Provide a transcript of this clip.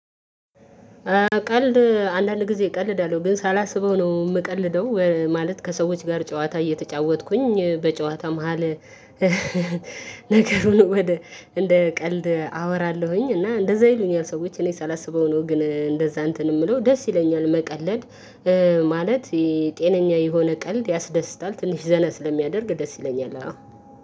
ቀልድ አንዳንድ ጊዜ ቀልዳለው ግን ሳላስበው ነው የምቀልደው ማለት ከሰዎች ጋር ጨዋታ እየተጫወትኩኝ በጨዋታ መሃል ነገሩን ወደ እንደ ቀልድ አወራለሁኝ እና እንደዛ ይሉኛል ሰዎች እኔ ሳላስበው ነው ግን እንደዛ እንትን የምለው ደስ ይለኛል መቀለድ ማለት የጤነኛ የሆነ ቀልድ ያስደስታል ትንሽ ዘና ስለሚያደርግ ደስ ይለኛል አዎ።